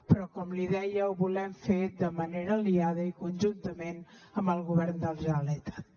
però com li deia ho volem fer de manera aliada i conjuntament amb el govern de la generalitat